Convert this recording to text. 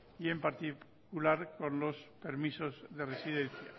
y en particular con los permisos de residencia